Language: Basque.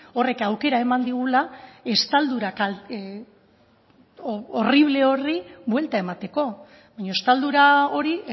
horrek aukera eman digula estaldura horrible horri buelta emateko baina estaldura hori